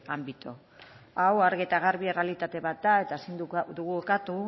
ámbito hau argi eta garbi errealitate bat da eta ezin dugu ukatu